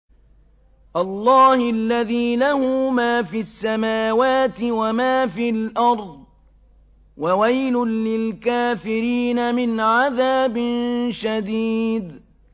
اللَّهِ الَّذِي لَهُ مَا فِي السَّمَاوَاتِ وَمَا فِي الْأَرْضِ ۗ وَوَيْلٌ لِّلْكَافِرِينَ مِنْ عَذَابٍ شَدِيدٍ